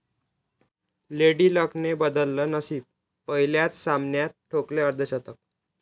lady लकने बदललं नशीब, पहिल्याच सामन्यात ठोकले अर्धशतक